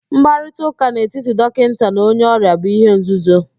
Mkparịtaụ́ká n'etiti dọkịnta na onye ọrịa bu ihe nzuzo